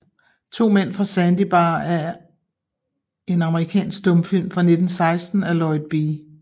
To Mænd fra Sandy Bar er en amerikansk stumfilm fra 1916 af Lloyd B